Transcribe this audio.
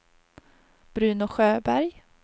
Bruno Sjöberg